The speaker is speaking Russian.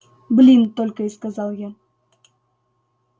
блин только и сказал я